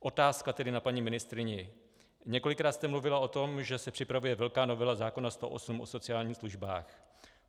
Otázka tedy na paní ministryni: Několikrát jste mluvila o tom, že se připravuje velká novela zákona 108 o sociálních službách.